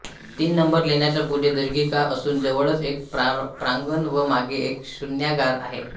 तीन नंबर लेण्याच्या पुढे दीर्घिका असून जवळच एक प्रांगण व मागे एक शून्यागार आहे